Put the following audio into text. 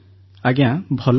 ଆଜ୍ଞା ଭଲ ଅଛି